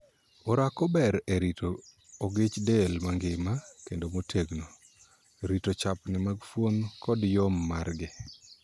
Orako ber e rito ogich del mangima kendo motegno, rito chapni mag fuon, kod yom margi.